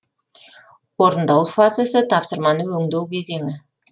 орындау фазасы тапсырманы өңдеу кезеңі